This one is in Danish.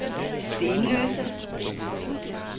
Stenløse